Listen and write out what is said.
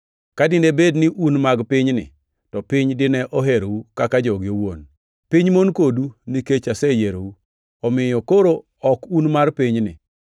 Ka dine bed ni un mag pinyni, to piny dine oherou kaka joge owuon. Piny mon kodu nikech aseyierou, omiyo koro ok un mar pinyni.